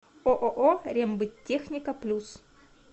ооо рембыттехника плюс